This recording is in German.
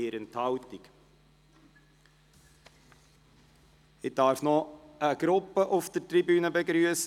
Ich darf noch eine Gruppe auf der Tribüne begrüssen.